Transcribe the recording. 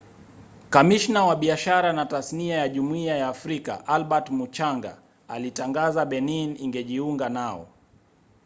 kamishna wa biashara na tasnia ya jumuiya ya afrika albert muchanga alitangaza benin ingejiunga nao